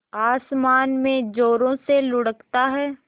आसमान में ज़ोरों से लुढ़कता है